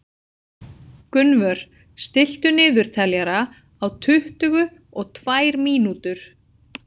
Gunnvör, stilltu niðurteljara á tuttugu og tvær mínútur.